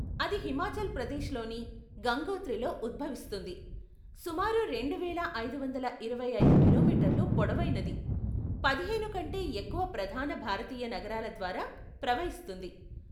అది హిమాచల్ ప్రదేశ్లోని గంగోత్రిలో ఉద్భవిస్తుంది, సుమారు రెండువేల ఐదువందల ఇరవై ఐదు కిలోమీటర్లు పొడవైనది, పదిహేను కంటే ఎక్కువ ప్రధాన భారతీయ నగరాల ద్వారా ప్రవహిస్తుంది.